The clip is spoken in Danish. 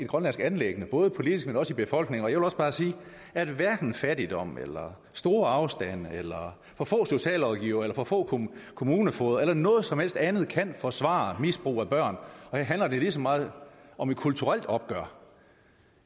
grønlandsk anliggende både politisk og i befolkningen jeg vil bare sige at hverken fattigdom eller store afstande eller for få socialrådgivere eller for få kommunefogeder eller noget som helst andet kan forsvare misbrug af børn og her handler det lige så meget om et kulturelt opgør